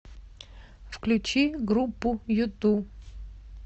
включи группу юту